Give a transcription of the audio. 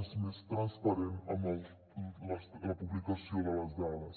és més transparent amb la publicació de les dades